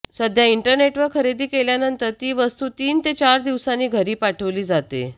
सध्या इंटरनेटवर खरेदी केल्यानंतर ती वस्तू तीन ते चार दिवसांनी घरी पाठवली जाते